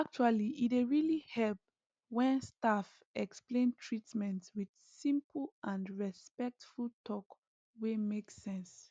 actually e dey really help when staff explain treatment with simple and respectful talk wey make sense